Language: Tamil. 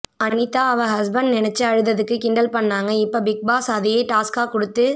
அனிதா அவ ஹஷ்பண்ட்ட நினைச்சு அழுததுக்கு கிண்டல் பண்ணாங்க இப்ப பிக்பாஸ் அதையே டாஸ்க்கா குடுத்து